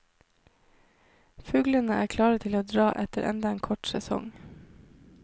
Fuglene er klare til å dra etter enda en kort sesong.